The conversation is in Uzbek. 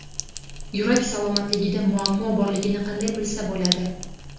Yurak salomatligida muammo borligini qanday bilsa bo‘ladi?.